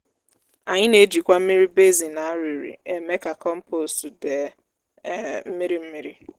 anyị na-ejikwa mmiri basin a rịrị eme ka kọmpost dee um mmiri mmiri